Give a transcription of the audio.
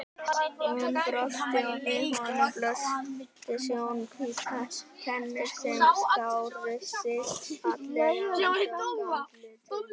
Hún brosti og við honum blöstu snjóhvítar tennur sem skáru sig fallega úr dökku andlitinu.